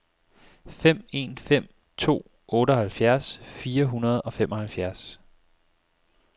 fem en fem to otteoghalvfjerds fire hundrede og femoghalvfjerds